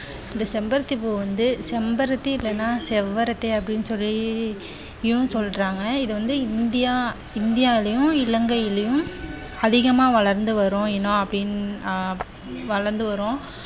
இந்த செம்பருத்தி பூ வந்து, செம்பருத்தி இல்லனா செவ்வரத்தி அப்படின்னு சொல்லியும் சொல்றாங்க. இது வந்து இந்தியா இந்தியாவிலும் இலங்கையிலும் அதிகமா வளர்ந்து வரும் இனம் அப்படின் ஆஹ் வளர்ந்து வரும்.